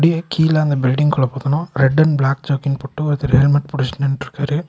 இங்க கீழ அந்த பில்டிங்க்குள்ள பூதனு ரெட் அண்ட் பிளாக் ஜர்க்கின் போட்டு ஒருத்தர் ஹெல்மெட் புடிச்சுட்டு நின்ட்ருக்காரு.